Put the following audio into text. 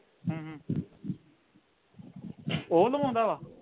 ਹੂੰ ਹੂੰ ਉਹ ਲਵਾਉਂਦਾ ਵਾ